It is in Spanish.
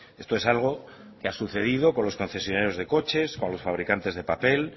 esto es algo que ha sucedido con los concesionarios de coches o los fabricantes de papel